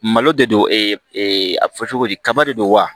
Malo de don a fɔ cogo di kaba de don wa